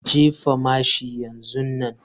Jefa mashin yanzu nan.